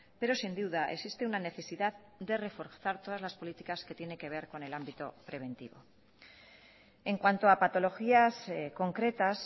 pero sin duda existe una necesidad de reforzar todas las políticas que tiene que ver con el ámbito preventivo en cuanto a patologías concretas